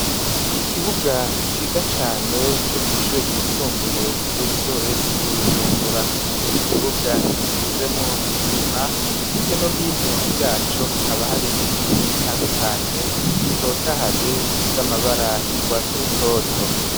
Ikibuga ciza cane co kw'ishure ryisumbuye esowese ry'Ibujumbura, ikibuga gisizemwo n'isima, hirya no hino yaco hakaba hari biti bitandukanye bitotahaye bifise amabara y'urwasi rutoto.